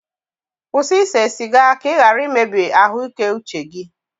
kwụsị ise siga ka ị ghara imebi ahụike uche gị